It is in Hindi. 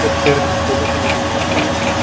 कुछ फूलों की मालाएं रखी हुई हैं।